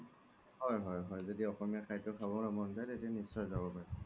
হয় হয় য্দি অসমীয়া খাদ্য খাবলৈ মন তেতিয়া নিশ্চয়ই যাব পাৰে